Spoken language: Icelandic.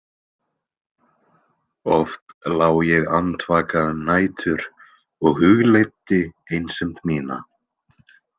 Oft lá ég andvaka um nætur og hugleiddi einsemd mína.